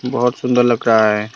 बहुत सुंदर लग रहा है।